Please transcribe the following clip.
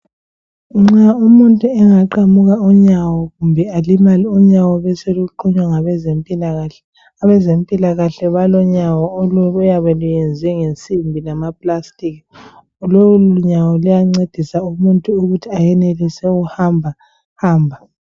Nxa umuntu engaqamuka unyawo kumbe alimale unyawo beseluqunywa ngabezempilakahle abezempilakahle balonyawo oluyabe luyenzwe ngesimbi lamaplastiki lolu nyawo luyancedisa umuntu ukuthi anelise ukuhamba hamba.